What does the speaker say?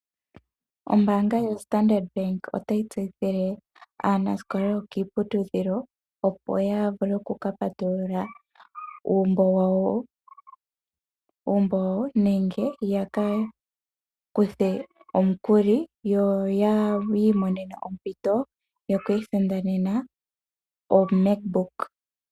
Ombaanga yo Standard bank otayi tseyithile aanasikola yokiiputudhilo, opo yavule okupatuilula uumbo wawo nenge yakakuthe omukuli yo yi imonene ompito yokwiisindanena o MacBook.